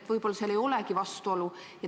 – võib-olla ei olegi vastuolu.